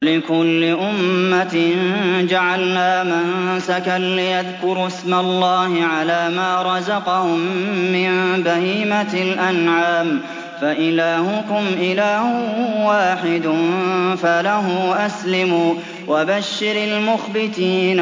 وَلِكُلِّ أُمَّةٍ جَعَلْنَا مَنسَكًا لِّيَذْكُرُوا اسْمَ اللَّهِ عَلَىٰ مَا رَزَقَهُم مِّن بَهِيمَةِ الْأَنْعَامِ ۗ فَإِلَٰهُكُمْ إِلَٰهٌ وَاحِدٌ فَلَهُ أَسْلِمُوا ۗ وَبَشِّرِ الْمُخْبِتِينَ